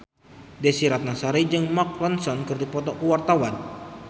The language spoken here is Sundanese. Desy Ratnasari jeung Mark Ronson keur dipoto ku wartawan